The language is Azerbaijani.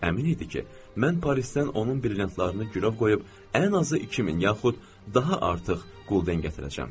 Əmin idi ki, mən Parisdən onun brilliantlarını girov qoyub ən azı 2000 yaxud daha artıq qulden gətirəcəm.